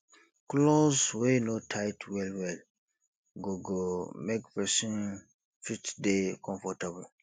cloth wey no tight well well go go make person fit dey comfortable